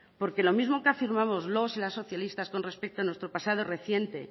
porque lo mismo que afirmamos los y las socialistas con respecto a nuestro pasado reciente